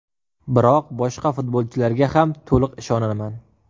Biroq boshqa futbolchilarga ham to‘liq ishonaman.